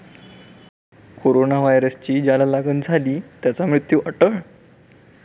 Corona व्हायरसची ज्याला लागण झाली त्याचा मृत्यू अटळ?